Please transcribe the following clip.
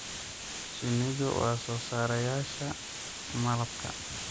Shinnidu waa soo saareyaasha malabka.